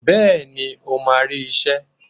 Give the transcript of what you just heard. Bẹ́ẹ̀ni o máa rí iṣẹ́.